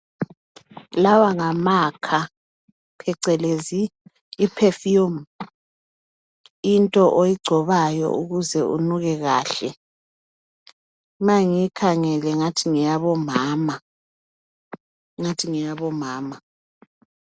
Lawa ngamakha phecelezi iperfume, into oyigcobayo ukuze unuke kahle. Ma ngiyikhangele ungathi ngeyabomama, ungathi ngeyabomama.